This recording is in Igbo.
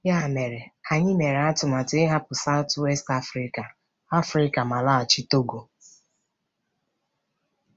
Ya mere, anyị mere atụmatụ ịhapụ South-West Africa Africa ma laghachi Togo.